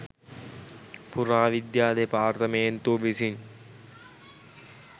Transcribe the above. පුරාවිද්‍යා දෙපාර්තමේන්තුව විසින්